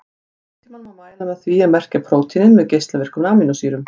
Líftímann má mæla með því að merkja prótínin með geislavirkum amínósýrum.